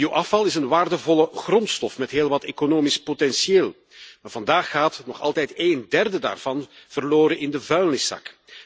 Bioafval is een waardevolle grondstof met heel wat economisch potentieel, maar vandaag gaat nog altijd een derde daarvan verloren in de vuilniszak.